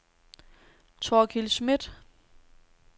Thorkild Smidt